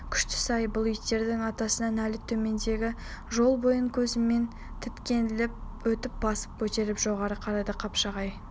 күштісі-ай бұл иттердің атасына нәлет төмендегі жол бойын көзімен тінткілеп өтіп басын көтеріп жоғары қарады қапшағай